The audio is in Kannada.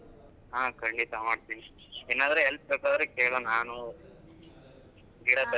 ಹಾ ಖಂಡಿತ ಮಾಡ್ಡ್ತಿನಿ ಏನ್ ಆದ್ರೂ help ಬೇಕಾದ್ರೆ ಕೇಳು ನಾನು ಗಿಡ,